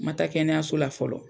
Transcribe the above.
Ma taa kɛnɛyaso la fɔlɔ.